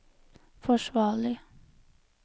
forsvarlig